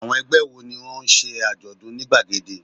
Àwọn ẹgbẹ́ wo ni ó ń ṣe àjọ̀dún ní gbàgede?